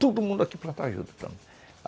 Todo mundo aqui plantava juta.